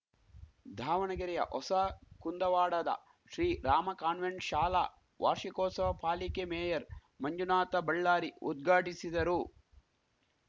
ಧಾವಣಗೆರೆಯ ಹೊಸ ಕುಂದವಾಡದ ಶ್ರೀರಾಮ ಕಾನ್ವೆಂಟ್‌ ಶಾಲಾ ವಾರ್ಷಿಕೋತ್ಸವ ಪಾಲಿಕೆ ಮೇಯರ್‌ ಮಂಜುನಾಥ ಬಳ್ಳಾರಿ ಉದ್ಘಾಟಿಸಿದರು